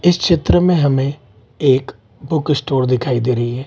इस चित्र में हमें एक बुक स्टोर दिखाई दे रही है।